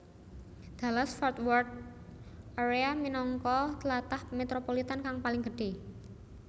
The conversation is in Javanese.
Dallas Fort Worth area minangka tlatah metropolitan kang paling gedhé